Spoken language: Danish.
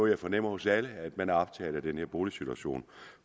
jeg fornemmer hos alle er at man er optaget af den her boligsituation